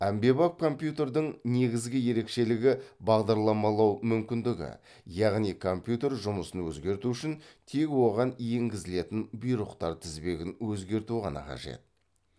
әмбебап компьютердің негізгі ерекшелігі бағдарламалау мүмкіндігі яғни компьютер жұмысын өзгерту үшін тек оған енгізілетін бұйрықтар тізбегін өзгерту ғана қажет